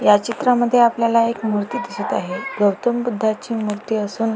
या चित्रा मध्ये आपल्याला एक मूर्ती दिसत आहे मूर्ती गौतम बुधाणची सून --